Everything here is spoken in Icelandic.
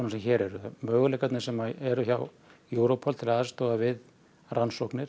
sem hér eru möguleikarnir sem eru hjá Europol til að aðstoða við rannsóknir